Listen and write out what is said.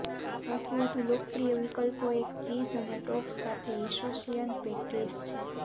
સૌથી વધુ લોકપ્રિય વિકલ્પો એક ચીઝ અને ટોપ્સ સાથે ઓસેશિયન પેસ્ટ્રીઝ છે